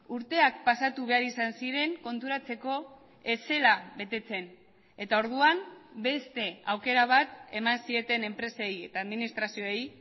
urteak pasatu behar izan ziren konturatzeko ez zela betetzen eta orduan beste aukera bat eman zieten enpresei eta administrazioei